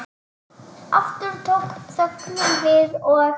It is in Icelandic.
Aftur tók þögnin við og